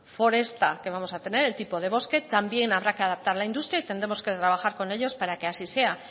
foresta que vamos a tener el tipo de bosque también habrá que adaptar la industria y tendremos que trabajar con ellos para que así sea